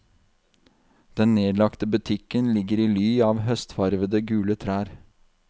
Den nedlagte butikken ligger i ly av høstfarvede gule trær.